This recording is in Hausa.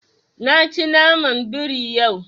Na ci naman biri yau.